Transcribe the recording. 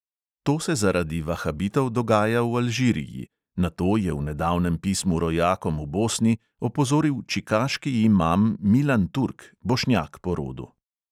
To se zaradi vahabitov dogaja v alžiriji, na to je v nedavnem pismu rojakom v bosni opozoril čikaški imam milan turk, bošnjak po rodu.